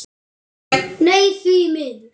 Nei, því miður.